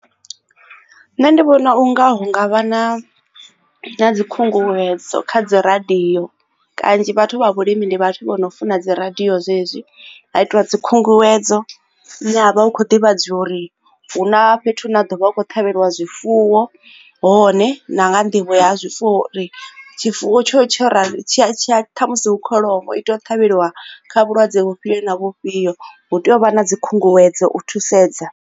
Nṋe ndi vhona unga hu ngavha na na dzi khunguwedzo kha dzi radio kanzhi vhathu vha vhulimi ndi vhathu vho no funa dzi radio zwezwi ha itiwa dzi khunguwedzo hune havha hu kho divhadzwa uri hu na fhethu na ḓovha vha kho ṱhavheliwa zwifuwo hone na nḓivho ya zwifuwo tshifuwo tsho tsha musi hu kholomo i tea u ṱhavheliwa kha vhulwadze vhufhio na vhufhio hu tea u vha na dzi khunguwedzo u thusedza.